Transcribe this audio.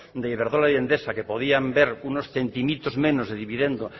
de iberdrola y endesa que podían ver unos centimitos menos de dividendo